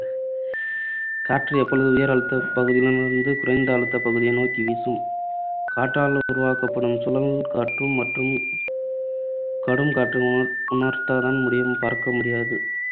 காற்று எப்பொழுதும் உயர் அழுத்தப்பகுதிகளிலிருந்து குறைந்த அழுத்த பகுதியை நோக்கி வீசும். காற்றால் உருவாக்கப்படும் சுழல் காற்றும் மற்றும் கடும் காற்றை உணர்த்ததான் முடியும் பார்க்க முடியாது.